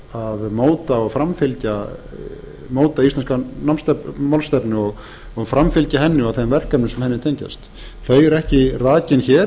af því að móta íslenska málstefnu og framfylgja henni og þeim verkefnum sem henni tengjast þau eru ekki rakin hér